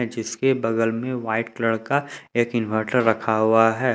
जिसके बगल में वाइट कलर का एक इनवर्टर रखा हुआ है।